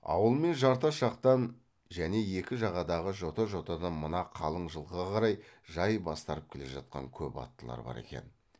ауыл мен жартас жақтан және екі жағадағы жота жотадан мына қалың жылқыға қарай жай бастарып келе жатқан көп аттылар бар екен